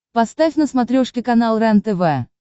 поставь на смотрешке канал рентв